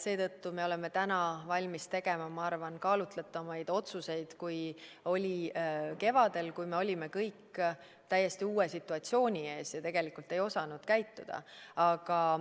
Seetõttu me oleme täna valmis tegema, ma arvan, kaalutletumaid otsuseid kui kevadel, kui me olime kõik täiesti uue situatsiooni ees ja ei osanud käituda.